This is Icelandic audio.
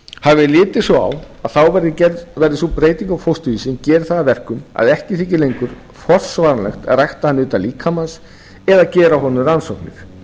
hafi verið litið svo á að þá verði sú breytingu á fósturvísi sem geri það að verkum að ekki þyki lengur forsvaranlegt að rækta hann utan líkamans eða gera á honum rannsóknir